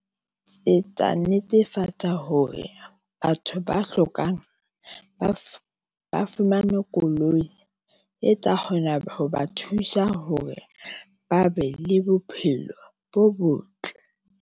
Ke tla netefatsa hore batho ba hlokang ba fumane koloi, e tla kgona ho ba thusa hore ba be le bophelo bo botle.